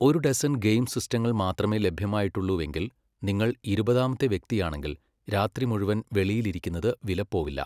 ഒരു dozen game സിസ്റ്റങ്ങൾ മാത്രമേ ലഭ്യമായിട്ടുള്ളൂവെങ്കിൽ, നിങ്ങൾ ഇരുപതാമത്തെ വ്യക്തിയാണെങ്കിൽ, രാത്രി മുഴുവൻ വെളിയിലിരിക്കുന്നത് വിലപ്പോവില്ല.